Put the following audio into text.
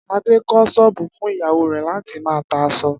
Adé kó̩ s̩ó̩ò̩bù fún ìyàwó rè̩ láti máa ta as̩o̩